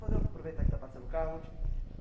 Vamos aproveitar que está passando o carro, vou te